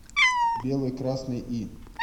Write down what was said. белый красный и